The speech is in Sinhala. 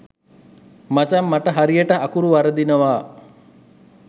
මචං මට හරියට අකුරු වරදිනවා.